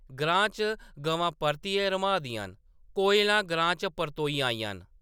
ग्रां च गवां परतियै रम्हाऽ दियां न! कोयलां ग्रां च परतोई आइयां न ।